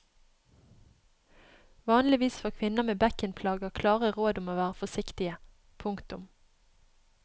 Vanligvis får kvinner med bekkenplager klare råd om å være forsiktige. punktum